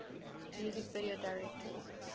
music video directors